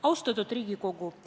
Austatud Riigikogu!